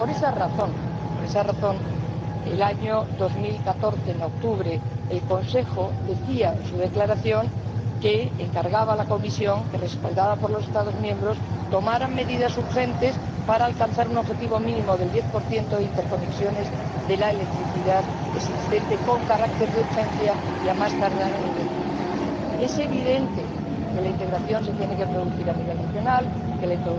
Por esa razón, en octubre del año 2014, el Consejo decía en su declaración que encargaba a la Comisión que, respaldada por los Estados miembros, tomara medidas urgentes para alcanzar un objetivo mínimo del 10 de interconexiones de la electricidad existente con carácter de urgencia y a más tardar en el año 2020. Es evidente que la integración se tiene que producir a nivel regional, que la